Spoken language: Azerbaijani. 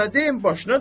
Daha nə deyim?